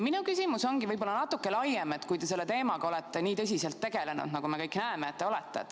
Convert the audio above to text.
Minu küsimus ongi võib-olla natuke laiem, kuna te olete selle teemaga nii tõsiselt tegelenud, me kõik näeme, et olete.